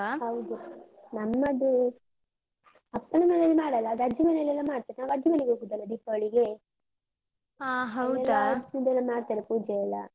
ಹೌದು, ನಮ್ಮದು ಅಪ್ಪನ ಮನೆಯಲ್ಲಿ ಮಾಡಲ್ಲ ಅದ್ ಅಜ್ಜಿ ಮನೆಯಲ್ಲೆಲ್ಲ ಮಾಡ್ತಾರೆ. ನಾವು ಅಜ್ಜಿ ಮನೆಗೆ ಹೋಗುದಲ್ಲ ದೀಪಾವಳಿಗೆ. ಹೆಚ್ಚಿದೆಲ್ಲ ಮಾಡ್ತಾರೆ ಪೂಜೆಯೆಲ್ಲ.